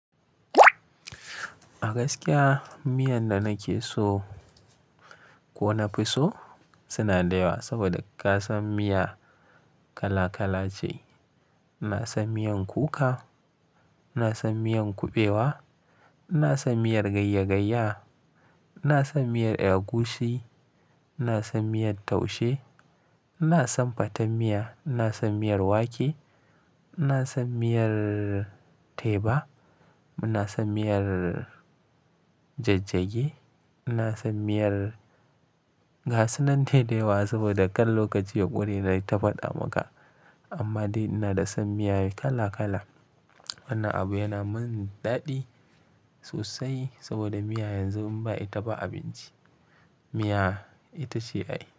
A gaskiya miyan da nake so ko na fi so suna da yawa saboda ka san miya kala kala ce. Ina son miyan kuka, ina son miyan kuɓewa, ina son miyar gayya gayya, ina son miyar agushi, ina son miyar taushe, ina son fatar miya, ina son miyar wake, ina son miyar teba, ina son miyar jajjage, ina son miyar gasu nan dai da yawa saboda kar lokaci ƙure nayi ta faɗa maka. Amma dai ina da son miyoyi kala kala. Wannan abu yana min daɗi sosai saboda miya yanzu in ba ita ba abinci, miya ita ce ai.